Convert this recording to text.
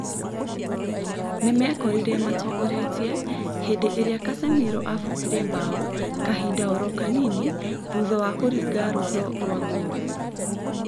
Nĩmekorire matongoretie hĩndĩ ĩrĩa Casemiro abungire mbaũ kahinda oro kanini thutha wa kũringa rwaro rwa ngolu